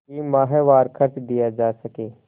कि माहवार खर्च दिया जा सके